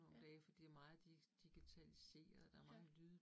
Ja. Ja